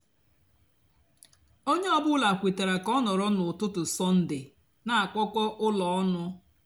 ónyé ọ bụlà kwetara kà ọ nọrọ n'útútú sọnde nà-àkpọkọ úló ónụ.